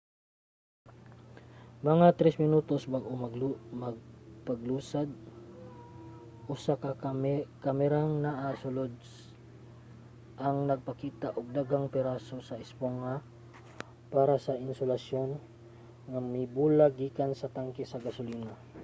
mga 3 minutos bag-o ang paglusad usa ka kamerang naa sa sulod ang nagpakita og daghang piraso sa espongha para sa insulasyon nga mibulag gikan sa tanke sa gasolina